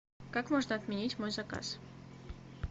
как можно отменить мой заказ